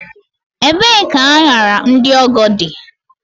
Ebee ka añara ndị ọgọ dị?